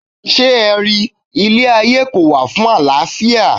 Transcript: Ṣé ẹ ri, ilé ayé kò wà fún àlàáfíà.